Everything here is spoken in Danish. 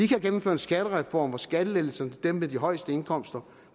kan gennemføre en skattereform med skattelettelser til dem med de højeste indkomster